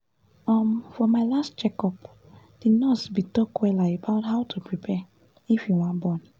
um for my last check up the nurse bin talk wella about how to prepare if you wan born